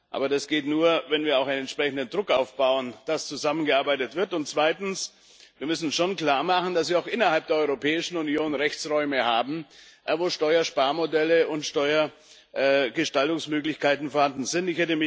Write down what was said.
Aber das geht nur, wenn wir auch einen entsprechenden Druck aufbauen, dass zusammengearbeitet wird. Und zweitens Wir müssen schon klar machen, dass wir auch innerhalb der Europäischen Union Rechtsräume haben, wo Steuersparmodelle und Steuergestaltungsmöglichkeiten vorhanden sind.